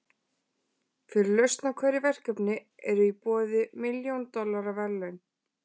Fyrir lausn á hverju verkefni eru í boði milljón dollara verðlaun.